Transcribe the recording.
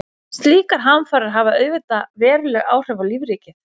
Slíkar hamfarir hafa auðvitað veruleg áhrif á lífríkið.